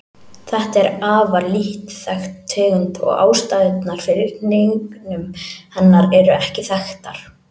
Þetta er afar lítt þekkt tegund og ástæðurnar fyrir hnignun hennar eru ekki þekktar.